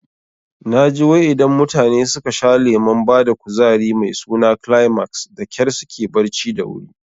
Naji wai idan mutane suka sha lemon bada kuzari mai suna Climax dakyar suke barci da wuri